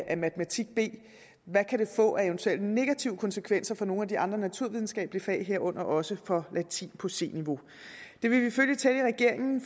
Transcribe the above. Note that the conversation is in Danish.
af matematik b kan få af eventuelle negative konsekvenser for nogle af de andre naturvidenskabelige fag herunder også for latin på c niveau det vil vi følge tæt i regeringen